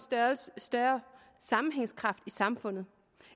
større sammenhængskraft i samfundet